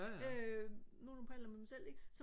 øh nogenlunde på alder med mig selv ikke